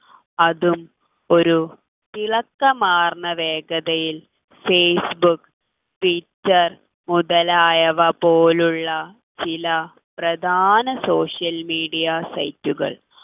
അതും ഒരു ഇളക്കം മാർന്ന വേഗതയിൽ ഫേസ്ബുക്ക് ട്വിറ്റെർ മുതലായവ പോലുള്ള ചില പ്രധാന social media site കൾ